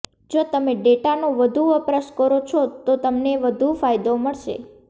જો તમે ડેટાનો વધુ વપરાશ કરો છો તો તમને વધુ ફાયદો મળશે